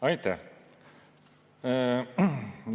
Aitäh!